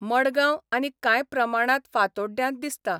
मडगांव आनी कांय प्रमाणांत फातोड्ड्यांत दिसता.